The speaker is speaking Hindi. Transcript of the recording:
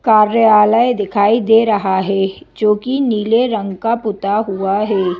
कार्यालय दिखाई दे रहा हैं जो कि नीले रंग का पुता हुआ हैं।